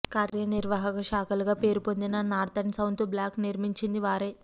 కార్య నిర్వాహక శాఖలుగా పేరు పొందిన నార్త్ అండ్ సౌత్ బ్లాక్లు నిర్మించిందీ వారే